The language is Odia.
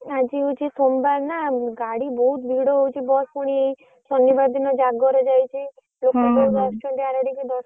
ଆଜି ହଉଛି ସୋମବାର ନା ଗାଡି ବହୁତ ଭିଡ ହଉଛି bus ପୁଣି ଏଇ ଶନିବାର ଦିନ ଜାଗର ଯାଇଛି ଲୋକ ବହୁତ ଅଛନ୍ତି ଆଡେ ଟିକେ ଦର୍ଶନପାଇଁ ସେଇଥିପାଇଁ।